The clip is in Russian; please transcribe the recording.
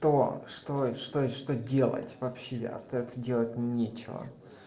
что что что что делать вообще остаётся делать нечего